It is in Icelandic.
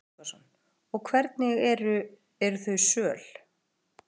Gísli Óskarsson: Og hvernig eru, eru þau söl?